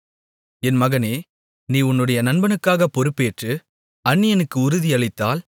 என் மகனே நீ உன்னுடைய நண்பனுக்காகப் பொறுப்பேற்று அந்நியனுக்கு உறுதியளித்தால்